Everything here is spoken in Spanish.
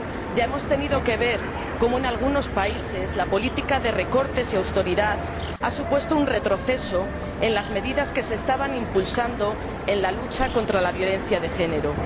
Ya hemos tenido que ver cómo en algunos países la política de recortes y austeridad ha supuesto un retroceso en las medidas que se estaban impulsando en la lucha contra la violencia de género.